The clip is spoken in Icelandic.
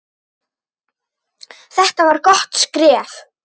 Þetta var gott skref.